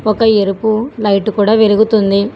ఒక ఎరుపు లైట్ కూడ వెలుగుతుంది.